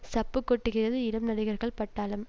சப்பு கொட்டுகிறது இளம் நடிகர்கள் பட்டாளம்